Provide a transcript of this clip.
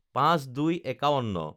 ০৫/০২/৫১